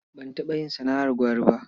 Ban taɓa yin sana'ar gwari ba.